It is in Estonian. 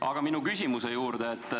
Aga minu küsimuse juurde.